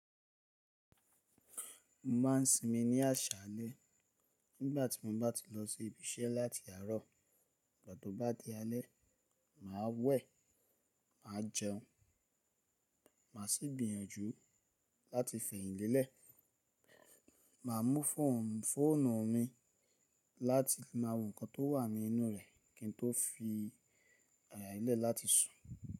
Mo ma ń sinmi ni aṣálé nígbà tí mo bá ti lọ sí ibi iṣẹ́ láti àárọ̀, ìgbà tó bá di alẹ́, màá wẹ̀, màá jẹun, màá sì gbìyànjú láti fẹ̀yìnlélẹ̀. Màá mú fóònù mi láti máa wo nǹkan tó wà ní inú rẹ̀ kí n tó fi ara mi lẹ́ láti sùn.